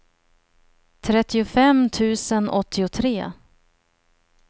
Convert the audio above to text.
trettiofem tusen åttiotre